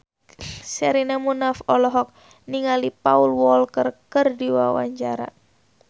Sherina Munaf olohok ningali Paul Walker keur diwawancara